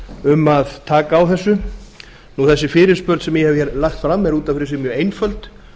um að taka á þessu þessi fyrirspurn sem ég hef hér lagt fram er út af fyrir sig mjög einföld